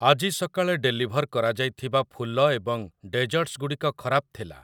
ଆଜି ସକାଳେ ଡେଲିଭର୍ କରାଯାଇଥିବା ଫୁଲ ଏବଂ ଡେଜର୍ଟ୍ସ୍ ଗୁଡ଼ିକ ଖରାପ ଥିଲା ।